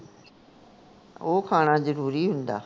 ਉਹ ਖਾਣਾ ਜ਼ਰੂਰੀ ਹੁੰਦਾ